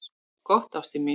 """Gott, ástin mín."""